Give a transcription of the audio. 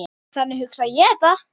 Þannig hugsa ég þetta.